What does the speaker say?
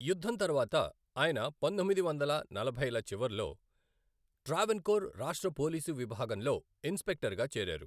యుద్ధం తర్వాత ఆయన పంతొమ్మిది వందల నలభైల చివరలో ట్రావెన్కోర్ రాష్ట్ర పోలీసు విభాగంలో ఇన్స్పెక్టర్గా చేరారు.